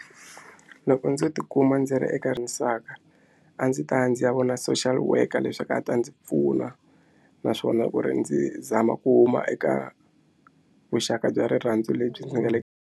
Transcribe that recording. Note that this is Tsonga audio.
Loko ndzo tikuma ndzi ri eka a ndzi ta ya ndzi ya vona social worker leswaku a ta ndzi pfuna naswona ku ri ndzi zama ku huma eka vuxaka bya rirhandzu lebyi ndzi nga le.